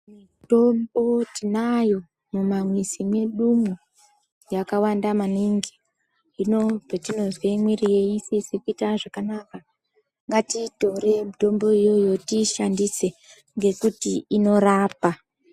Mitombo tinayo mumamwizi medumo yakawanda maningi. Hino patinozwe miiri yedu isisiri kuitwa zvakanaka, ngatiitorei mitombo iyoyo tiishandise ngekuti inorapa.